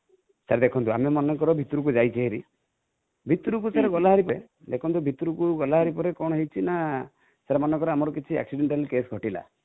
sir ଦେଖନ୍ତୁ ଆମେ ମନେକର ଭିତରକୁ ଯାଇଛେ ଭାରି, ଭିତରକୁ sir ଗଲାଭାରି ପରେ, ଦେଖନ୍ତୁ ଭିତରକୁ ଗଲାଭାରି ପରେ କଣ ହେଇଛି ନା,sir ମନେକର ଆମର କିଛି accidental case ଘଟିଲା